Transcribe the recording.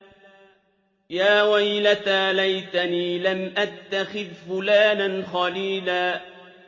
يَا وَيْلَتَىٰ لَيْتَنِي لَمْ أَتَّخِذْ فُلَانًا خَلِيلًا